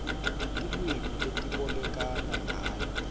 tilwimi letibolekana ngayo